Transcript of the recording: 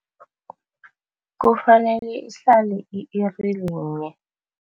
Kufanele ihlale i-iri linye.